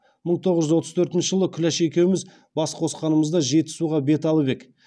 мың тоғыз жүз отыз төртінші жылы күләш екеуміз бас қосқанымызда жетісуға бет алып ек